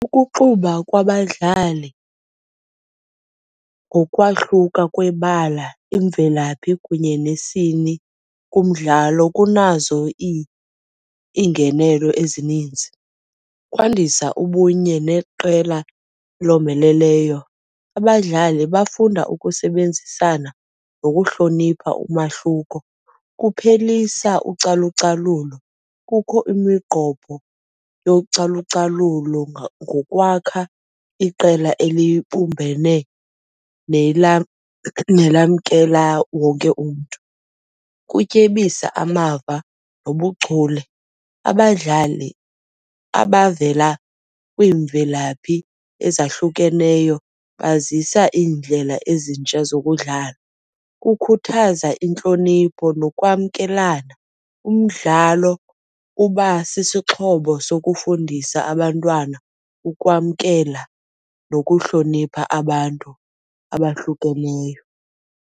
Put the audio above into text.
Ukuxuba kwabadlali ngokwahluka kwebala, imvelaphi kunye nesini kumdlalo kunazo iingenelo ezininzi. Kwandisa ubunye neqela elomeleleyo, abadlali bafunda ukusebenzisana nokuhlonipha umahluko. Kuphelisa ucalucalulo, kukho imigqobho yocalucalulo ngokwakha iqela elibumbene nelamkela wonke umntu. Kutyebisa amava nobuchule, abadlali abavela kwiimvelaphi ezahlukeneyo bazisa iindlela ezintsha zokudlala. Kukhuthaza intlonipho nokwamkelana, umdlalo uba sisixhobo sokufundisa abantwana ukwamkela nokuhlonipha abantu abahlukeneyo.